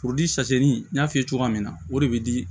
sase ni y'a f'i ye cogoya min na o de be di